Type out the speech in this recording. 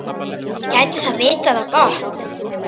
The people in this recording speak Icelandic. Gæti það vitað á gott?